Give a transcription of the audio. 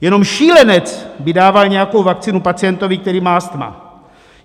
Jenom šílenec by dával nějakou vakcínu pacientovi, který má astma.